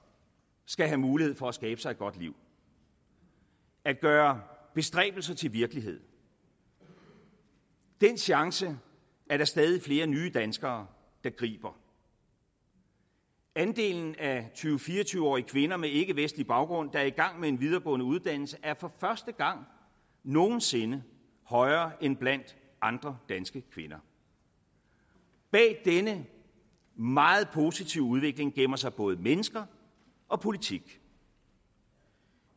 skal have mulighed for at skabe sig et godt liv at gøre bestræbelser til virkelighed den chance er der stadig flere nye danskere der griber andelen af tyve til fire og tyve årige kvinder med ikkevestlig baggrund der er i gang med en videregående uddannelse er for første gang nogen sinde højere end blandt andre danske kvinder bag denne meget positive udvikling gemmer sig både mennesker og politik